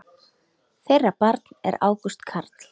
Þeirra barn er Ágúst Carl.